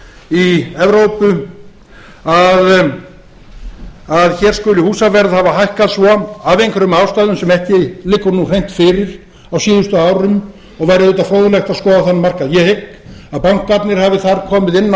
í evrópu að hér skuli húsaverð hafa hækkað svo af einhverjum ástæðum sem ekki nú liggur nú hreint fyrir á síðustu árum og væri auðvitað fróðlegt að skoða þann markað ég hygg að bankarnir hafi þar komið inn á